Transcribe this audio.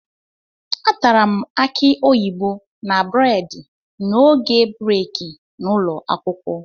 Atara m akị oyibo na bredị n'oge breeki n'ụlọ akwụkwọ